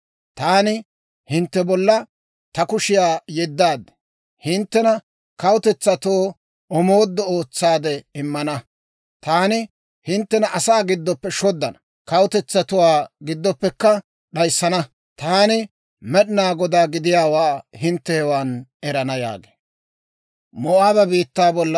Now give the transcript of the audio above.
taani hintte bolla ta kushiyaa yeddaad. Hinttena kawutetsatoo omooduwaa ootsaade immana. Taani hinttena asaa giddoppe shoddana; kawutetsatuwaa giddoppekka d'ayissana. Taani Med'inaa Godaa gidiyaawaa hintte hewan erana» yaagee.